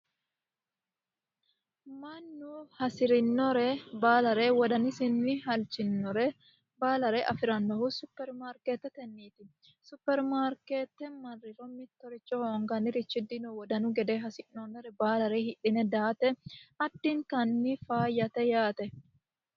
Mannu hasirinore baalare wodanisira halchinore baalare afiranohu supermaarketeteniti. Supermaarkrtr marriro mittoricho hasi'noonire hoonganiri dino wodanu gede hasi'noonire baalare hidhine daate addintanni faayyate yaate.